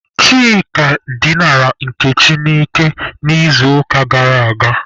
Chika dinara Nkechi n'ike n'izuụka gara aga.